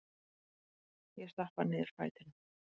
Ég stappa niður fætinum.